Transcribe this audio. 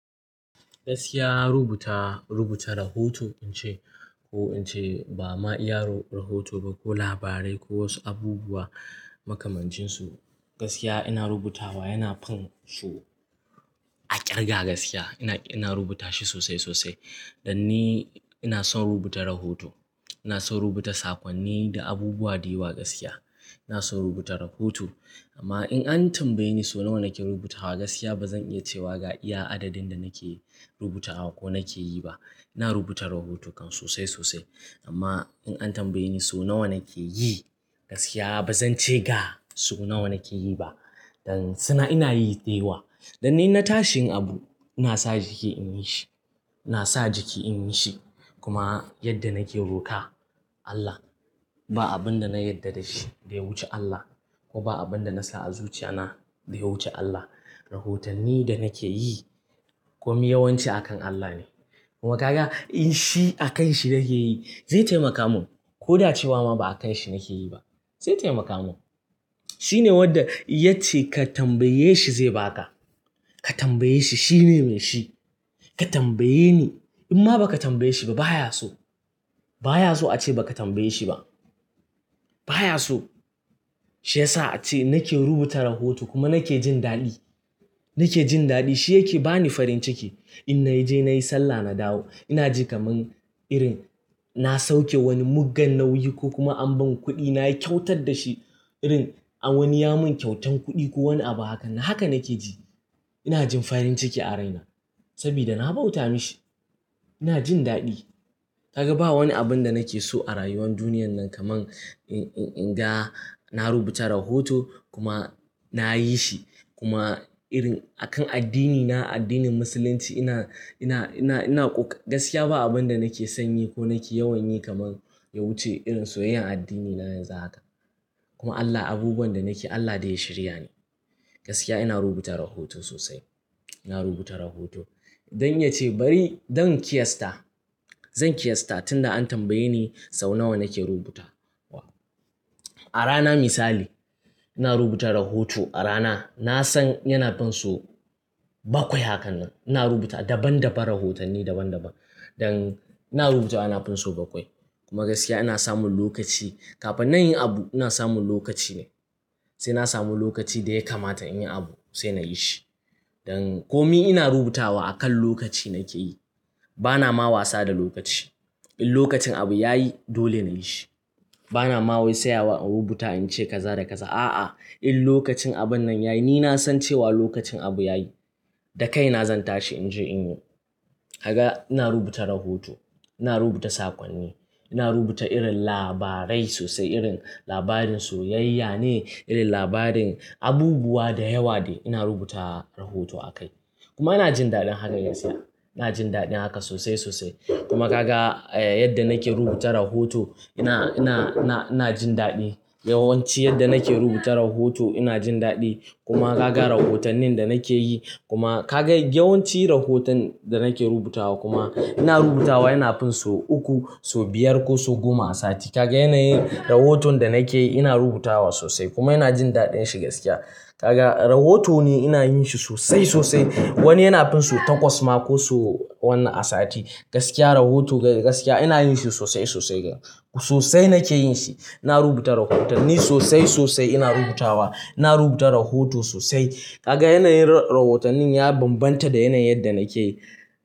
Gaskiya rubuta, rubuta rahoto in ce ko in ce ba ma iya ro-rahoto ba ko labarai ko wasu abubuwa makamancin su, gaskiya ina rubutawa yana fin so a kirga gaskiya. Ina, ina rubuta shi sosai sosai. Dan ni ina son rubuta rahoto. Ina son rubuta sakonni da abubuwa da yawa gaskiya. Ina son rubuta rahoto amma in an tambaye ni so nawa nake rubutawa gaskiya ba zan iya cewa ga iya adadin da nake rubutawa ko nake yi ba. Ina rubuta rahoto kan sosai sosai amma in an tambaye ni so nawa nake yi gaskiya ba zan ce ga sau nawa nake yi ba. Dan suna ina yi da yawa. Dan ni inna tashi yin abu ina sa jiki in yi shi. Ina sa jiki in yi shi kuma yadda nake roka Allah ba abun da na yarda da shi ya wuce Allah ko ba abun da na sa a zuciya na ya wuce Allah. Rahotanni da nake yi komi yawanci a kan Allah ne. Kuma ga in shi a kanshi nake yi zai taimaka mun ko da cewa ma ba a kanshi nake yi ba. Zai taimaka mun. Shi ne wanda ya ce ka tambaye shi zai ba ka. Ka tambaye shi. Shi ne mai shi. Ka tambaye ni. In ma ba ka tambaye shi ba baya so. Baya so a ce ba ka tambaye shi ba. Baya so. Shi ya sa a ce nake rubuta rahoto kuma nake jin daɗi. Nake jin daɗi. Shi yake bani farin ciki. In na je na yi sallah na dawo ina ji kaman irin na sauke wani muggan nauyi ko kuma an bani kuɗi na yi kyautar da shi irin a wani ya mun kyautan kuɗi ko wani abu hakan nan. Haka nake ji. Ina jin farin ciki a raina saboda na bauta mashi. Ina jin daɗi. Kaga ba wani abun da nake so a rayuwar duniyar nan kaman in, in, in ga na rubuta rahoto kuma na yi shi. Kuma irin a kan addini na addinin musulunci ina, ina, ina, ina ƙoƙa gaskiya ba abun da nake sanyi ko nake yawan yi kaman ya wuce irin soyayyar addini na yanzu haka. Kuma Allah abubuwan da nake Allah da ya shirya ne. Gaskiya ina rubuta rahoto sosai. Ina rubuta rahoto. Don ya ce bari don kiyasta. Zan kiyasta tunda an tambaye ni sau nawa nake rubuta wa. A rana misali ina rubuta rahoto. A rana na san yana pin so bakwai hakan nan. Ina rubuta daban daban rahotanni daban daban. Dan ina rubuta ana pin so bakwai. Kuma gaskiya ina samun lokaci kafin na yi abu ina samun lokaci ne. Sai na samu lokaci da ya kamata in yi abu sai na yi shi. Dan komi ina rubutawa akan lokaci nake yi. Bana ma wasa da lokaci. In lokacin abu ya yi dole na yi shi. Bana ma wai tsayawa a rubuta in ce kaza da kaza. A'a, in lokacin abun nan ya yi ni na san cewa lokacin abu ya yi. Da kaina zan tashi in je in yi. Kaga ina rubuta rahoto. Ina rubuta sakonni. Ina rubuta irin labarai sosai irin labarin soyayya ne, irin labarin abubuwa da yawa de ina rubuta rahoto a kai. Kuma ina jin daɗin haka gaskiya. Ina jin daɗin haka sosai sosai. Kuma ka ga, eh, yadda nake rubuta rahoto ina, ina, na, ina jin daɗi. Yawanci yadda nake rubuta rahoto ina jin daɗi. Kuma ka ga rahotannin da nake yi kuma ka ga yawanci rahoton da nake rubutawa kuma ina rubutawa yana fin so uku, so biyar ko so goma a sati. Kaga yanayin rahoton da nake yi ina rubutawa sosai kuma ina jin daɗin shi gaskiya. Kaga rahoto ne ina yin shi sosai sosai. Wani yana fin so takwas ma ko so wannan a sati. Gaskiya rahoto gaskiya ina yin shi sosai sosai ga. Sosai nake yin shi. Ina rubuta rahotanni sosai sosai ina rubutawa. Ina rubuta rahoto sosai. Kaga yanayin rahotannin ya bambanta da yanayin yadda nake yi.